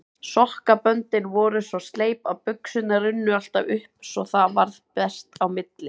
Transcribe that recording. Sokkaböndin voru svo sleip að buxurnar runnu alltaf upp svo það varð bert á milli.